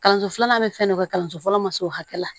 Kalanso filanan bɛ fɛn dɔ kɛ kalanso fɔlɔ ma s'o hakɛ la